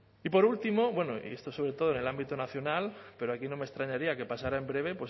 y por último bueno y esto sobre todo en el ámbito nacional pero aquí no me extrañaría que pasara en breve